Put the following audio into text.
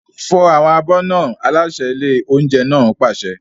Fọ àwọn abọ́ náà! Aláṣẹ ilé oúnjẹ náà pàṣẹ.